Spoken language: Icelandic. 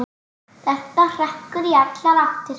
Þetta hrekkur í allar áttir.